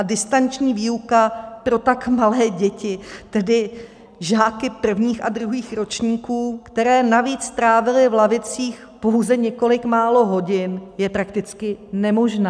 A distanční výuka pro tak malé děti, tedy žáky prvních a druhých ročníků, které navíc strávily v lavicích pouze několik málo hodin, je prakticky nemožná.